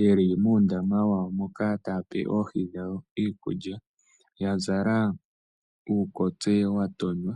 yeli muundama wawo moka taya pe oohi dhawo iikulya ya zala uukotse wa tonywa.